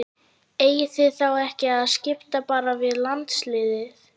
Eigið þið þá ekki að skipta bara við landsliðið?